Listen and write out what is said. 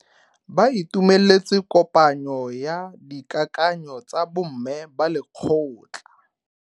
Ba itumeletse kopanyo ya dikakanyo tsa bo mme ba lekgotla.